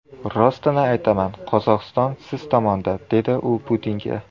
Rostini aytaman, Qozog‘iston siz tomonda”, dedi u Putinga.